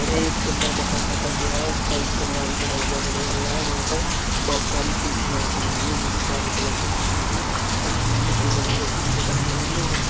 हमें एक सुन्दर मकान दिखाई दे रहा है उसका एक कमरा भी बना हुआ दिखाई दे रहा है वहाँ पर बहोत सारी कुर्सियाँ रखी हुई है जोकि काले कलर की कुर्सियाँ रखी हुई है टेबल भी रखी हुई दिखाई दे रही है और --